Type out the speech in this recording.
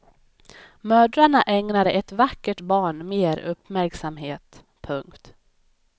Mödrarna ägnade ett vackert barn mer uppmärksamhet. punkt